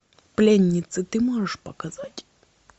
пленницы ты можешь показать